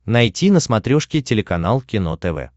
найти на смотрешке телеканал кино тв